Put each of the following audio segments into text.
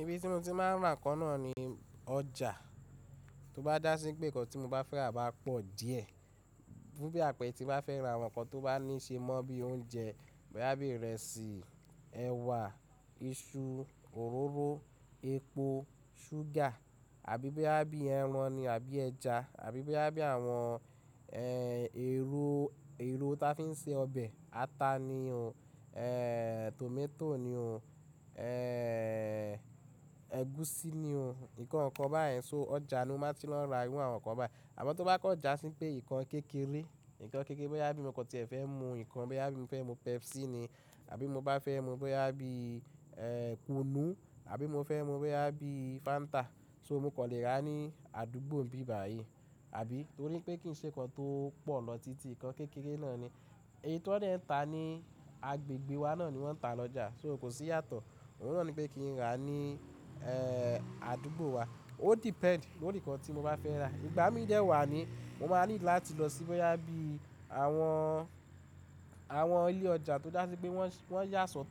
Ibi tí mo ti máa ń rà ǹkan náà ni ọjà. Tí ó bá dá sí pé nǹkan tí mo bá fẹ́ rà bá pọ̀ díẹ̀, bí i àpẹ tí mo bá fẹ́ ra àwọn nǹkan tó bá ní ṣe mọ́ bí i oúnjẹ bí i ìrẹsì, ẹ̀wà, iṣu, òróró, epo, ṣúgà àbí bí i ẹran ni àbí ẹja àbí bí i àwọn èro tí wọ́n fi ń se ọbẹ̀, ata ni, tòmátò ni, ẹ̀gúsí ni, nǹkan kan báyìí, so ọjà ni mo má ti lọ ra irú àwọn nǹkan báyìí. Àmọ́ tó bá kọjá sí pé nǹkan kékeré, nǹkan kékeré bí i mo kọ́ tí ẹ̀ fẹ́ mu, nǹkan bí i mo fẹ́ mu Pepsi ni àbí mo bá fẹ́ mu bóyá bíi Kunu àbí mo fẹ́ mu bóyá bíi Fanta, so mo kò lè rà ní àdúgbò mi báyìí, àbí torí pé kí n ṣe nǹkan tó pọ̀ lọ títí nǹkan kékeré náà ni. Eyiti wọ́n ń tà ní agbègbè wa náà ni wọ́n ń tà lọ́jà, so kò sí ìyàtọ̀. Òhun náà ní pé kí n rà á ní àdúgbò wa. O depend lórí nǹkan tí mo bá fẹ́ rà. Ìgbà mí díẹ̀ wà ní mo máa ní láti lọ sí bí i àwọn ilé ọjà tó dá sí pé wọ́n yà sọ́tọ̀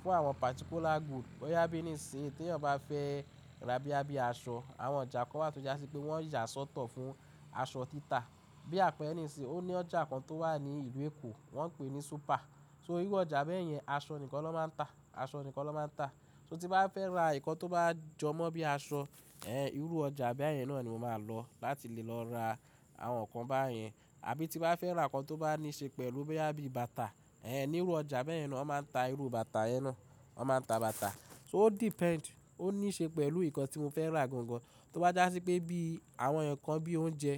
fún àwọn particular good. Bí i níìsín tí ẹ̀yàn bá fẹ́ rà bí i aṣọ, àwọn ọjà kan wà tí ó dá sí pé wọ́n yà sọ́tọ̀ fún aṣọ títà. Bí i àpẹ níìsín, ó ní ọjà kan tó wà ní ìlú Èkó, wọ́n ń pè é ní Súpà So irú ọjà bẹ́ẹ̀ yẹn, aṣọ nìkan ló máa ń ta, aṣọ nìkan ló máa ń ta. So tí bá fẹ́ rà nǹkan tó bá jọ mọ́ bí i aṣọ, irú ọjà bẹ́ẹ̀ yẹn náà ni mo máa lọ láti lè lọ ra àwọn nǹkan báyìí. Àbí tí bá fẹ́ rà nǹkan tó bá ní ṣe pẹ̀lú bí i bàtà, irú ọjà bẹ́ẹ̀ yẹn náà ó máa ń ta irú bàtà yẹn náà, ó máa ń ta bàtà. So o depend, ó ní í ṣe pẹ̀lú nǹkan tí mo fẹ́ rà gangan. Tó bá dá sí pé bí i àwọn nǹkan bí i oúnjẹ,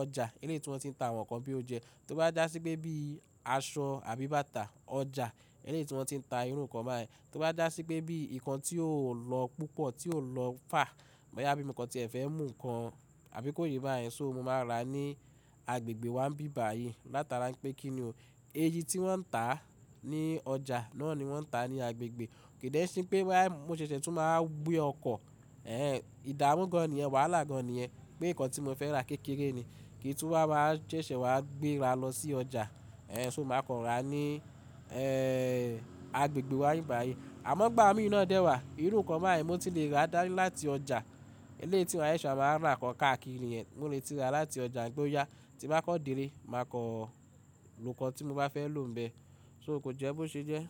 ọjà eléti wọ́n ti ń ta àwọn nǹkan bí i oúnjẹ. Tó bá dá sí pé bí i aṣọ àbí bàtà, ọjà eléti wọ́n ti ń ta irú nǹkan báyìí. Tó bá dá sí pé bí i nǹkan tí yóò lọ púpọ̀, tí yóò lọ fà bí i nǹkan tí ẹ̀ fẹ́ mú nǹkan àbí kòyẹ́ bá yẹn, so mo máa rà á ní agbègbè wa báyìí. Látara pé kí ni o. Eyiti wọ́n ń tà á ní ọjà náà ni wọ́n ń tà á ní agbègbè. Kìí dẹ̀ ṣe pé bá mo ṣẹ̀ṣẹ̀ tún máa gbé ọkọ̀, ìdàmú gan ni yẹn, wàhálà gan ni ẹ pé nǹkan tí mo fẹ́ rà kékeré ni, kí n túwọ́ bá máa ṣẹ̀ṣẹ̀ wá gbé rà á lọ sí ọjà, so mo máa kọ rà á ní agbègbè wa báyìí. Àmọ́ ìgbà mí díẹ̀ náà dẹ́ wà, irú nǹkan báyìí mo ti le rà dárí láti ọjà eléyìí tí wọ́n ẹṣùá máa ń rà nǹkan káàkiri yẹn. Mo le ti rà á láti ọjà, gbóyá tí bá kọ́ di dé, máa kọ nǹkan tí mo bá fẹ́ lò níbẹ̀. So kò jẹ́ bó ṣe jẹ́.